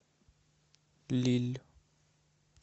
лилль